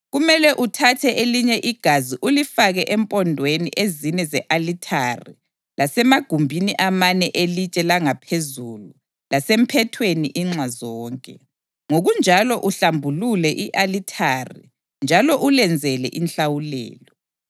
Kumele uthathe elinye igazi ulifake empondweni ezine ze-alithare lasemagumbini amane elitshe langaphezulu lasemphethweni inxa zonke, ngokunjalo uhlambulule i-alithari njalo ulenzele inhlawulelo.